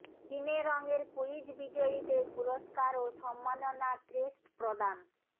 সিনেরঙ এর কুইজ বিজয়ীদের পুরস্কার ও সম্মাননা ক্রেস্ট প্রদান